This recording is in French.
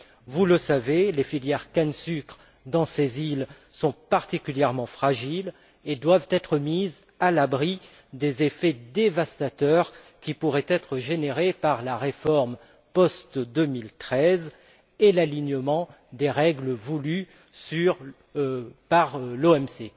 Vous le savez, les filières canne sucre dans ces îles sont particulièrement fragiles et doivent être mises à l'abri des effets dévastateurs qui pourraient être générés par la réforme post 2013 et l'alignement sur les règles voulues par l'OMC.